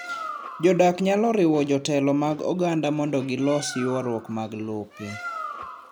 Jodak nyalo riwo jotelo mag oganda mondo gilos ywaruok mag lope.